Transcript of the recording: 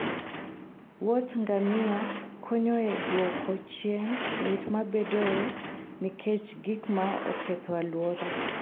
wuodh ngamia konyo e duoko chien lit mabedoe nikech gik ma oketho alwora.